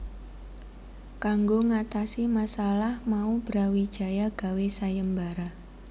Kanggo ngatasi masalah mau Brawijaya gawé sayembara